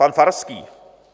Pan Farský.